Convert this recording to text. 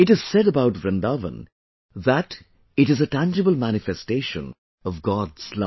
It is said about Vrindavan that it is a tangible manifestation of God's love